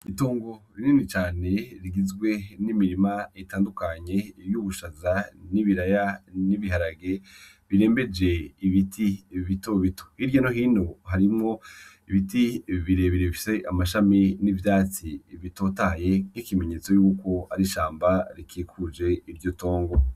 Itongo rinini cane rigizwe n'imirima itandukanye y'ubushaza n'ibiraya n'ibiharage birembeje ibiti bitobito hirya no hino harimwo ibiti birebire bifise amashami n'ivyatsi bitotahaye nk'ikimenyetso yuko ari ishamba rikikuje iryo tongo